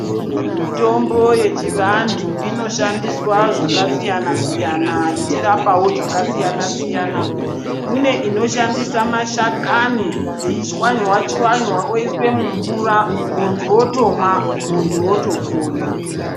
Mitombo yechivantu inoshandiswa zvakasiyana-siyana, ichirapawo zvakasiyana-siyana. Kune inoshandisa mashakani, yeichwanywa-chwanywa, yoiswe mumvura, muntu otomwa, muntu wotopona.